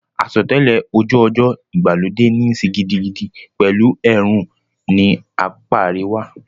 Àsotẹ́lẹ̀ ojú ọjọ́ ìgbàlódé níí ṣe gidigidi pẹ̀lú ẹ̀rùn ní apá àríwá.